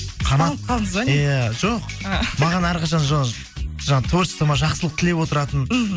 ұсталып қалдыңыз ба не иә жоқ маған әрқашан жаңа творчествома жақсылық тілеп отыратын мхм